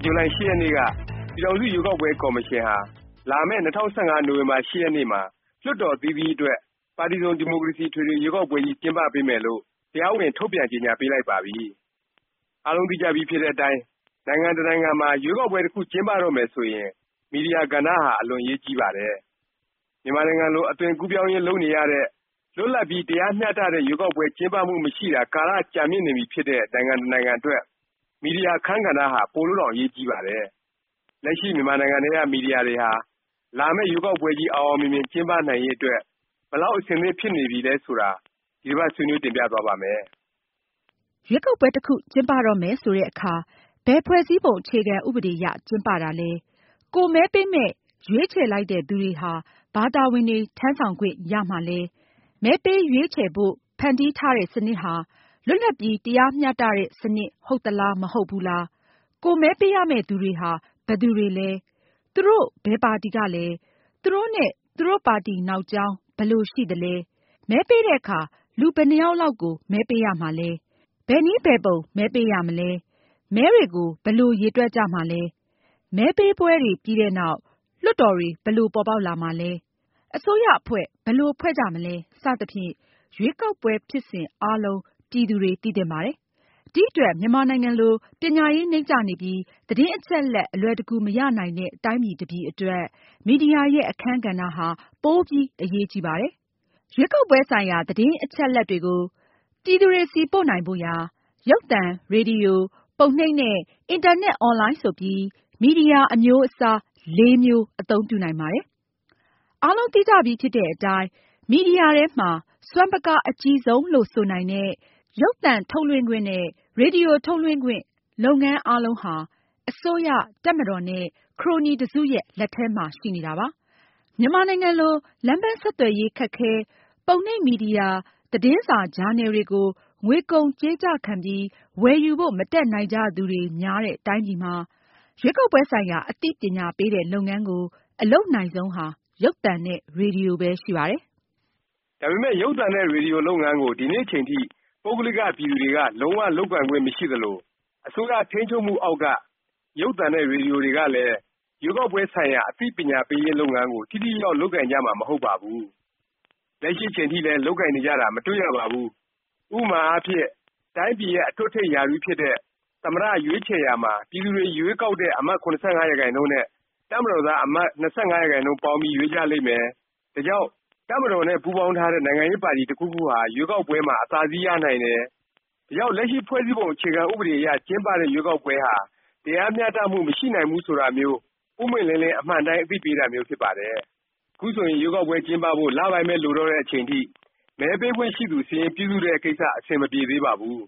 ့ ဇူလိုင် ၈ ရက်နေ့က ပြည်ထောင်စု ရွေးကောက်ပွဲ ကော်မရှင်ဟာ လာမယ့် ၂၀၁၅ နိုဝင်ဘာ ၈ ရက်နေ့မှာ လွှတ်တော် အသီးသီးအတွက် ပါတီစုံ ဒီမိုကရေစီ အထွေထွေ ရွေးကောက်ပွဲကြီး ကျင်းပပေးမယ်လို့ တရားဝင် ထုတ်ပြန်ကြေငြာပေးလိုက်ပါပြီ။ အားလုံးသိကြပြီးဖြစ်တဲ့အတိုင်း နိုင်ငံ တစ်နိုင်ငံမှာ ရွေးကောက်ပွဲ တစ်ခု ကျင်းပတော့မယ်ဆိုရင် မီဒီယာ ကဏ္ဍဟာ အလွန်အရေးကြီးပါတယ်။ မြန်မာနိုင်ငံလို အသွင်ကူးပြောင်းရေး လုပ်နေရတဲ့၊ လွတ်လပ်ပြီး တရားမျှတတဲ့ ရွေးကောက်ပွဲ ကျင်းပမှု မရှိတာ ကာလ ကြာမြင့်နေပြီဖြစ်တဲ့ နိုင်ငံတစ်နိုင်ငံအတွက် မီဒီယာ အခန်းကဏ္ဍဟာ ပိုလို့တောင် အရေးကြီးပါတယ်။ လက်ရှိ မြန်မာနိုင်ငံထဲက မီဒီယာတွေဟာ လာမယ့် ရွေးကောက်ပွဲကြီး အောင်အောင်မြင်မြင် ကျင်းပနိုင်ရေး အတွက် ဘယ်လောက် အဆင်သင့်ဖြစ်နေပြီလဲ ဆိုတာ ဒီတစ်ပါတ် ဆွေးနွေး တင်ပြသွားပါ့မယ်။ ရွေးကောက်ပွဲ တစ်ခု ကျင်းပတော့မယ် ဆိုတဲ့အခါ ဘယ် ဖွဲ့စည်းပုံ အခြေခံဥပဒေ အရ ကျင်းပတာလဲ၊ ကိုယ်မဲပေး ရွေးချယ်လိုက်တဲ့ သူတွေဟာ ဘာတာဝန်တွေ ထမ်းဆောင်ခွင့်ရမှာလဲ၊ မဲပေး ရွေးချယ်ဖို့ ဖန်တီးထားတဲ့ စနစ်ဟာ လွတ်လပ်ပြီး တရားမျှတတဲ့ စနစ် ဟုတ်သလား မဟုတ်ဘူးလား၊ ကိုယ်မဲပေးရမယ့်သူတွေဟာ ဘယ်သူတွေလဲ၊ သူတို့ ဘယ်ပါတီကလဲ၊ သူတို့နဲ့ သူတို့ ပါတီနောက်ကြောင်း ဘယ်လိုရှိသလဲ၊ မဲပေးတဲ့အခါ လူဘယ်နှစ်ယောက်လောက်ကို မဲပေးရမှာလဲ၊ ဘယ်နည်းဘယ်ပုံ မဲပေးရမှာလဲ၊ မဲတွေကို ဘယ်လို ရေတွက်ကြမှာလဲ၊ မဲပေးပွဲတွေ ပြီးတဲ့နောက် လွှတ်တော်တွေ ဘယ်လို ပေါ်ပေါက်လာမှာလဲ၊ အစိုးရအဖွဲ့ ဘယ်လို ဖွဲ့ကြမှာလဲ စသဖြင့် ရွေးကောက်ပွဲ ဖြစ်စဉ် အားလုံး ပြည်သူတွေ သိသင့်ပါတယ်။ ဒီအတွက် မြန်မာနိုင်ငံလို ပညာရေး နိမ့်ကျနေပြီး သတင်းအချက်အလက် အလွယ်တကူ မရနိုင်တဲ့ တိုင်းပြည် တစ်ပြည်အတွက် မီဒီယာရဲ့ အခန်းကဏ္ဍဟာ ပိုပြီး အရေးကြီးပါတယ်။ ရွေးကောက်ပွဲဆိုင်ရာ သတင်းအချက်အလက်တွေကို ပြည်သူတွေဆီ ပို့နိုင်ဖို့ရာ ရုပ်သံ၊ ရေဒီယို၊ ပုံနှိပ် နဲ့ အင်တာနက် အွန်လိုင်း ဆိုပြီး မီဒီယာ အမျိုးအစား လေးမျိုး အသုံးပြုနိုင်ပါတယ်။ အားလုံး သိကြပြီးဖြစ်တဲ့အတိုင်း မီဒီယာထဲမှာ စွမ်းပကား အကြီးဆုံးလို့ ဆိုနိုင်တဲ့ ရုပ်သံ ထုတ်လွှင့်ခွင့် နဲ့ ရေဒီယို ထုတ်လွှင့်ခွင့် လုပ်ငန်း အားလုံးဟာ အစိုးရ၊ တပ်မတော်နဲ့ ခရိုနီ တစ်စုရဲ့ လက်ထဲမှာပဲ ရှိနေပါတယ်။ မြန်မာနိုင်ငံလို လမ်းပန်း ဆက်သွယ်ရေး ခက်ခဲ၊ ပုံနှိပ်မီဒီယာ သတင်းစာ၊ ဂျာနယ်တွေကို ငွေကုန်ကြေးကျ ခံပြီး ဝယ်ယူဖို့ မတတ်နိုင်ကြသူတွေ များတဲ့ တိုင်းပြည်မှာ ရွေးကောက်ပွဲဆိုင်ရာ အသိပညာပေးတဲ့ လုပ်ငန်းကို အလုပ်နိုင်ဆုံးဟာ ရုပ်သံ နဲ့ ရေဒီယိုပဲ ရှိပါတယ်။ ဒါပေမယ့် ရုပ်သံနဲ့ ရေဒီယိုလုပ်ငန်းကို ဒီနေ့အချိန်ထိ ပုဂ္ဂလိက ပြည်သူတွေက လုံး၀ လုပ်ကိုင်ခွင့်မရှိ သလို အစိုးရထိန်းချုပ်မှုအောက်က ရုပ်သံနဲ့ ရေဒီယို တွေကလည်း ရွေးကောက်ပွဲဆိုင်ရာ အသိပညာပေးရေး လုပ်ငန်းကို ထိထိရောက်ရောက် လုပ်ကိုင်ကြမှာ မဟုတ်ပါဘူး။ လက်ရှိ အချိန်ထိလည်း လုပ်ကိုင်နေကြတာ မတွေ့ရပါဘူး။ ဥပမာအားဖြင့် တိုင်းပြည်ရဲ့ အထွတ်အထိပ် ရာထူးဖြစ်တဲ့ သမ္မတ ရွေးချယ်ရာမှာ ပြည်သူတွေရွေးကောက်တဲ့ အမတ် ၇၅ ရာခိုင်နှုန်းနဲ့ တပ်မတော်သား အမတ် ၂၅ ရာခိုင်နှုန်း ပေါင်းပြီး ရွေးကြလိမ့်မယ်၊ ဒါကြောင့် တပ်မတော်နဲ့ ပူးပေါင်းထားတဲ့ နိုင်ငံရေးပါတီ တစ်ခုခုဟာ ရွေးကောက်ပွဲမှာ အသာစီးရနိုင်တယ်၊ ဒါကြောင့် လက်ရှိ ဖွဲ့စည်းပုံ အခြေခံဥပဒေအရ ကျင်းပတဲ့ ရွေးကောက်ပွဲဟာ တရားမျှတမှု မရှိနိုင်ဘူး ဆိုတာမျိုး ပွင့်ပွင့်လင်းလင်း အမှန်အတိုင်း အသိပေးတာမျိုး ဖြစ်ပါတယ်။ ခုဆိုရင် ရွေးကောက်ပွဲ ကျင်းပဖို့ လပိုင်းပဲ လိုတော့တဲ့အချိန်ထိ မဲပေးခွင့်ရှိသူ စာရင်း ပြုစုတဲ့ ကိစ္စ အဆင်မပြေသေးပါဘူး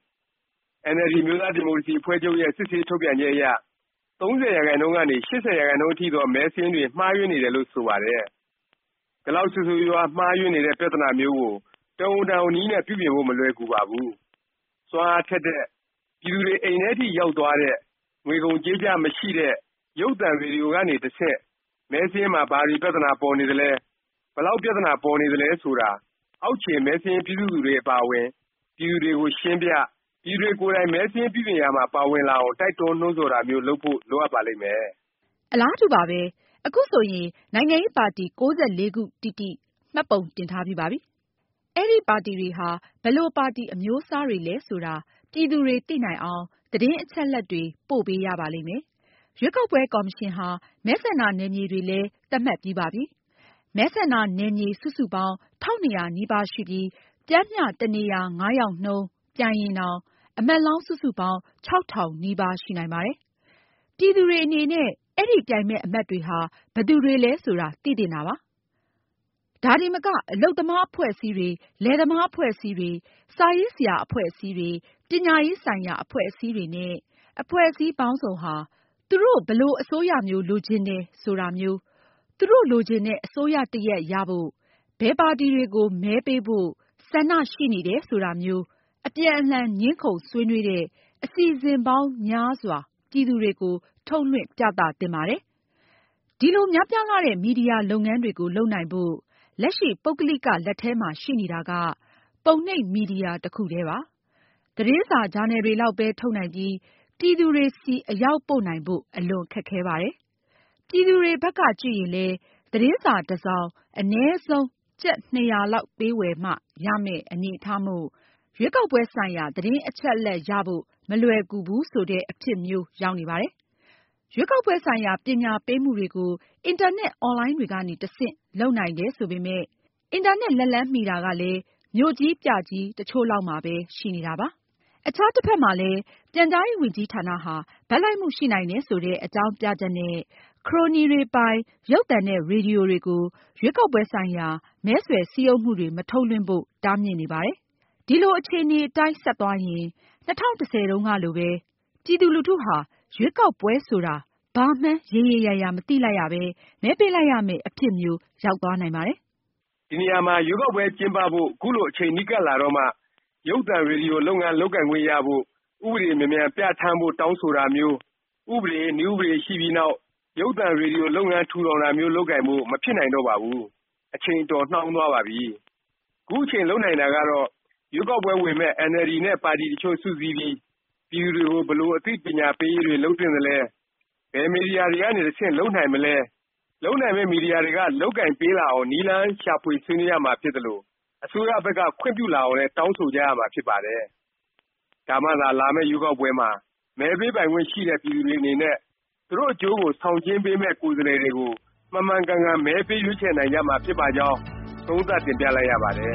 ။ NLD အမျိုးသားဒီမိုကရေစီ အဖွဲ့ချုပ်ရဲ့ စစ်ဆေး ထုတ်ပြန်ချက်အရ ၃၀ ရာခိုင်နှုန်းကနေ ၈၀ ရာခိုင်နှုန်းအထိသော မဲစာရင်းတွေ မှားယွင်းနေတယ်လို့ ဆိုပါတယ်။ ဒီလောက် ဆိုးဆိုးရွားရွား မှားယွင်းနေတဲ့ ပြသနာမျိုးကို တော်ရုံတန်ရုံ နည်းနဲ့ ပြုပြင်ဖို့ မလွယ်ကူပါဘူး။ စွမ်းအားထက်တဲ့၊ ပြည်သူတွေ အိမ်ထဲအထိ ရောက်သွားတဲ့၊ ငွေကုန်ကြေးကျ မရှိတဲ့ ရုပ်သံ၊ ရေဒီယိုကနေ တဆင့် မဲစာရင်းမှာ ဘာတွေ ပြသနာပေါ်နေသလဲ၊ ဘယ်လောက် ပြသနာ ပေါ်နေတယ်ဆိုတာ အောက်ခြေ မဲစာရင်းပြုစုသူတွေ အပါအဝင် ပြည်သူတွေကို ရှင်းပြ၊ ပြည်သူတွေကိုယ်တိုင် မဲစာရင်းပြုပြင်ရာမှာ ပါဝင်လာအောင် တိုက်တွန်းနှိုးဆော်တာမျိုး လုပ်ဖို့ လိုအပ်ပါလိမ့်မယ်။ အလားတူပါပဲ။ အခုဆိုရင် နိုင်ငံရေးပါတီ ခုတိတိ မှတ်ပုံတင်ထားပါပြီ။ အဲဒီ ပါတီတွေဟာ ဘယ်လိုပါတီ အမျိုးအစားတွေလဲ ဆိုတာ ပြည်သူတွေ သိနိုင်အောင် သတင်းအချက်အလက်တွေ ပို့ပေးရပါလိမ့်မယ်။ ရွေးကောက်ပွဲ ကော်မရှင်ဟာ မဲဆန္ဒနယ်မြေတွေလဲ သတ်မှတ်ပြီးပါပြီ။ မဲဆန္ဒနယ်မြေ စုစုပေါင်း ၁၂၀၀ နီးပါး ရှိပြီး ပျမ်းမျှ တစ်နေရာ ယောက်နှုန်း ပြိုင်ရင်တောင် အမတ်လောင်း စုစုပေါင်း ၆၀၀၀ နီးပါး ရှိနိုင်ပါတယ်။ ပြည်သူတွေဟာ အဲဒီ ပြိုင်မယ့် အမတ်တွေဟာ ဘယ်သူတွေလဲ ဆိုတာ သိသင့်ပါတယ်။ ဒါတင်မက အလုပ်သမား အဖွဲ့အစည်းတွေ၊ လယ်သမား အဖွဲ့အစည်းတွေ၊ စာရေးဆရာ အဖွဲ့အစည်းတွေ၊ ပညာရေး ဆိုင်ရာ အဖွဲ့အစည်းတွေနဲ့ အဖွဲ့အစည်းပေါင်းစုံဟာ သူတို့ ဘယ်လို အစိုးရမျိုး လိုချင်တယ် ဆိုတာမျိုး၊ သူတို့ လိုချင်တဲ့ အစိုးရတစ်ရပ် ရဖို့ ဘယ်ပါတီတွေကို မဲပေးဖို့ ဆန္ဒရှိနေတယ် ဆိုတာမျိုး အပြန်အလှန် ငြင်းခုံ ဆွေးနွေးတဲ့ အစီအစဉ်ပေါင်းများစွာ ပြည်သူတွေကို ထုတ်လွှင့်ပြသ သင့်ပါတယ်။ ဒီလို များပြားလှတဲ့ မီဒီယာ လုပ်ငန်းတွေကို လုပ်နိုင်ဖို့ လက်ရှိ ပုဂ္ဂလိက ပြည်သူတွေ လက်ထဲမှာ ရှိနေတာက ပုံနှိပ်မီဒီယာ တစ်ခုတည်းပါ။ သတင်းစာ၊ ဂျာနယ်တွေလောက်ပဲ ထုတ်နိုင်ပြီး ပြည်သူတွေဆီ အရောက်ပို့နိုင်ဖို့ အလွန်ခက်ခဲပါတယ်။ ပြည်သူတွေဘက်က ကြည့်ရင်လည်း သတင်းစာ တစ်စောင် အနည်းဆုံး ကျပ် ၂၀၀ လောက်ပေးဝယ်မှ ရမယ့် အနေအထားမို့ ရွေးကောက်ပွဲဆိုင်ရာ သတင်းအချက်အလက် ရဖို့ မလွယ်ကူဘူး ဆိုတဲ့ အဖြစ်မျိုး ရောက်နေပါတယ်။ ရွေးကောက်ပွဲဆိုင်ရာ ပညာပေးမှုတွေကို အင်တာနက် အွန်လိုင်းတွေကနေ တဆင့် လုပ်နိုင်တယ် ဆိုပေမယ့်၊ အင်တာနက် လက်လှမ်းမီတာကလည်း မြို့ကြီးပြကြီး တစ်ချို့လောက်မှာပဲ ရှိနေတာပါ။ အခြား တစ်ဖက်မှာလည်း ပြန်ကြားရေးဝန်ကြီးဌာနဟာ ဘက်လိုက်မှု ရှိနိုင်တယ် ဆိုတဲ့ အကြောင်းပြချက်နဲ့ ခရိုနီတွေပိုင် ရုပ်သံနဲ့ ရေဒီယိုတွေကို ရွေးကောက်ပွဲဆိုင်ရာ မဲဆွယ်စည်းရုံးမှုတွေ မထုတ်လွှင့်ဖို့ တားမြစ်နေပါတယ်။ ဒီလို အခြေအနေအတိုင်း ဆက်သွားရင် ၂၀၁၀ တုန်းကလိုပဲ ပြည်သူလူထုဟာ ရွေးကောက်ပွဲဆိုတာ ဘာမှန်း ရေရေရာရာ မသိလိုက်ရပဲ မဲပေးလိုက်ရမယ့် အဖြစ်မျိုး ရောက်သွားနိုင်ပါတယ်။ ဒီနေရာမှာ ရွေးကောက်ပွဲ ကျင်းပဖို့ ခုလို အချိန်နီးကပ်လာတော့မှ ရုပ်သံ၊ ရေဒီယို လုပ်ငန်း လုပ်ခွင့်ရဖို့ ဥပဒေမြန်မြန်ပြဌာန်းဖို့ တောင်းဆိုတာမျိုး၊ ဥပဒေ၊ နည်းဥပဒေရှိပြီးနောက် ရုပ်သံ၊ ရေဒီယို လုပ်ငန်း ထူထောင်တာမျိုး လုပ်ကိုင်ဖို့ မဖြစ်နိုင်တော့ပါဘူး။ အချိန် အတော်နှောင်းသွားပါပြီ။ ခုအချိန် လုပ်နိုင်တာကတော့ ရွေးကောက်ပွဲဝင်မယ့် NLD နဲ့ ပါတီ တစ်ချို့ စုစည်းပြီး ပြည်သူတွေကို ဘယ်လို အသိပညာပေးရေးတွေ လုပ်သင့်သလဲ၊ ဘယ် မီဒီယာတွေကနေ တဆင့် လုပ်နိုင်မလဲ၊ လုပ်နိုင်မယ့် မီဒီယာတွေက လုပ်ကိုင်ပေးလာအောင် နည်းလမ်းရှာ ဆွေးနွေးရမှာဖြစ်သလို၊ အစိုးရဘက်က ခွင့်ပြုလာအောင်လည်း တောင်းဆိုကြရမှာ ဖြစ်ပါတယ်။ ဒါမှသာ လာမယ့် ရွေးကောက်ပွဲမှာ မဲပေးပိုင်ခွင့်ရှိတဲ့ ပြည်သူတွေ အနေနဲ့ သူတို့အကျိုးကို ဆောင်ကျဉ်းပေးမယ့် ကိုယ်စားလှယ်တွေကို မှန်မှန်ကန်ကန် မဲပေးရွေးချယ်နိုင်ကြမှာ ဖြစ်ပါကြောင်း သုံးသပ်တင်ပြလိုက်ရပါတယ်